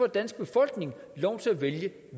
danske befolkning lov til at vælge